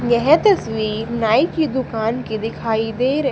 यह तस्वीर नाई की दुकान की दिखाई दे रही--